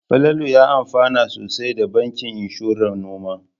Falalu ya amfana sosai da bankin inshoran noma.